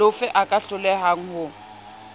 lofe a ka hlolehang ho